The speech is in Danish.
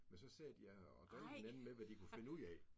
Men så sad de ja og drillede hinanden med hvad de kunne finde ud af